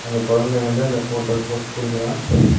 அந்த கொழந்த வந்து அந்த ஃபோட்டோக் போஸ் குடுக்குறா.